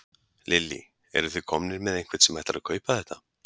Lillý: Eruð þið komnir með einhvern sem ætlar að kaupa þetta?